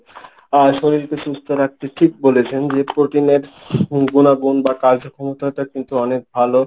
আর শরীলকে সুস্থ রাখতে ঠিক বলেছেন যে প্রোটিনের উম গুনাগুন বা কার্যক্ষমতাটা কিন্তু অনেক ভালো।